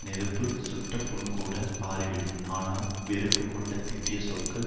நெருப்பு சுட்ட புண்கூட ஆறி விடும் ஆனால் வெறுப்பு கொண்டு திட்டிய சொற்கள்